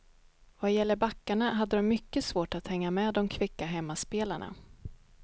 Vad gäller backarna hade dom mycket svårt att hänga med dom kvicka hemmaspelarna.